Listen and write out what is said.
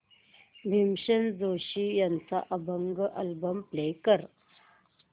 भीमसेन जोशी यांचा अभंग album play कर